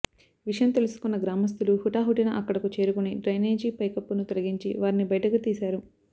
విషయం తెలుసుకున్న గ్రామస్థులు హుటాహుటిన అక్కడకు చేరుకుని డ్రైనేజీ పైకప్పును తొలగించి వారిని బయటకు తీశారు